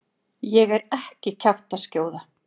Ég er ekki kjaftaskjóða.